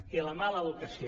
i la mala educació